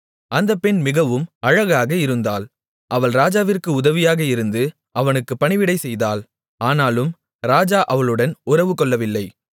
அந்தப் பெண் மிகவும் அழகாக இருந்தாள் அவள் ராஜாவிற்கு உதவியாக இருந்து அவனுக்குப் பணிவிடை செய்தாள் ஆனாலும் ராஜா அவளுடன் உறவுகொள்ளவில்லை